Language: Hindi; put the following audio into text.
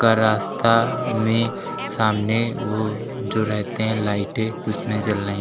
का रास्ता में सामने वो जो रहते हैं लाइटें उसमें जल रही हैं।